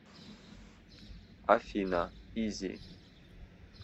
афина изи